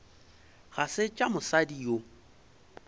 ga se tša mosadi yo